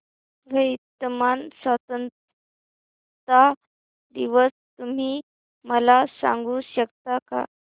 Vietnam स्वतंत्रता दिवस तुम्ही मला सांगू शकता का